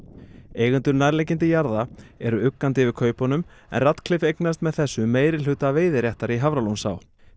eigendur nærliggjandi jarða eru uggandi yfir kaupunum en Ratcliffe eignast með þessu meirihluta veiðiréttar í Hafralónsá